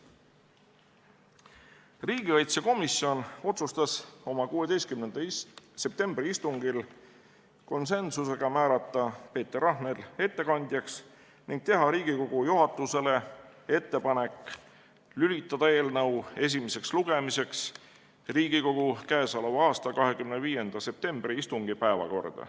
Riigikaitsekomisjon otsustas oma 16. septembri istungil konsensusega järgmist: määrata Peeter Rahnel ettekandjaks ning teha Riigikogu juhatusele ettepanek lülitada eelnõu esimeseks lugemiseks Riigikogu k.a 25. septembri istungi päevakorda.